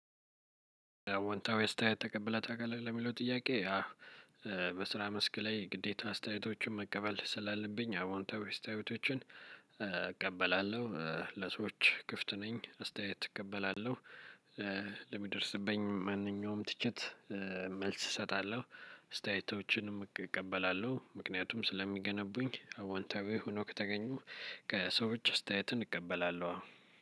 "አዎንታዊ አስተያየት ተቀብለህ ታውቃለህ ወይ?" ለሚለው ጥያቄ ያው በስራ መስክ ላይ ግዴታ አስተያየቶችን መቀበል ስላለብኝ አዎንታዊ አስተያየቶችን እቀበላለሁ። ለሰዎች ክፍት ነኝ አስተያየት እቀበላለሁ። ለሚደርስብኝ ማንኛውም ትችት መልስ እሰጣለሁ፣ አስታየዮቶችንም እቀበላለሁ ምክንያቱም ስለሚገነቡኝ አዋንታዊ ሆኖ ከተገኙ ከሰዎች አስታየት እንቀበላለሁ አዎ።